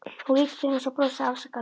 Hún lítur til hans og brosir afsakandi.